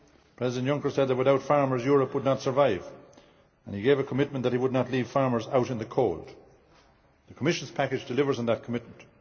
week, President Juncker said that without farmers Europe would not survive, and he gave a commitment that he would not leave farmers out in the cold. The Commission's package delivers on that commitment.